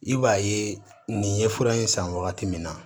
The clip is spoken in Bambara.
I b'a ye nin ye fura in san wagati min na